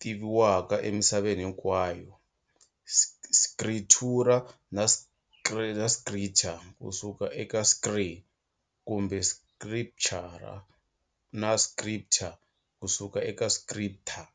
tiviwaka emisaveni hinkwayo-scritura na scritor ku suka eka scrir, kumbe scriptura na scriptor ku suka eka scripter.